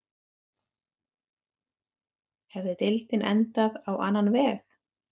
Hefði deildin endað á annan veg?